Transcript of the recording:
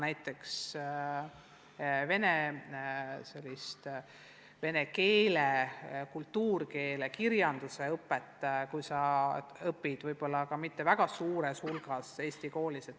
Näiteks kuidas õpetada vene keelt ja kirjandust, kui laps õpib eesti koolis?